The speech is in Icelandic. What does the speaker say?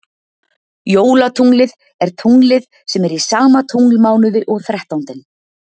Jólatunglið er tunglið sem er í sama tunglmánuði og þrettándinn.